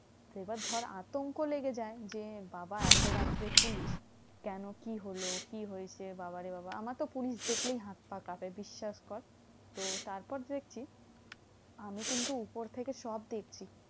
এবার ধর আতঙ্ক লেগে যায় যে বাবা এত রাত্রে পুলিশ, কেন? কি হলো? কি হয়েছে? বাবা রে বাবা আমার তো পুলিশ দেখলেই হাত পা কাঁপে বিশ্বাস কর। তো তারপর দেখছি, আমি কিন্তু উপর থেকে সব দেখছি।